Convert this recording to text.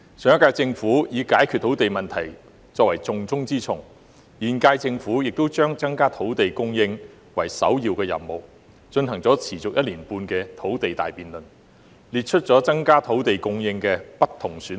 上屆政府視解決土地問題為施政的重中之重，現屆政府亦把增加土地供應列作首要任務，進行了持續1年半的土地大辯論，列出了增加土地供應的不同選項。